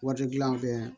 Wari gilan bɛ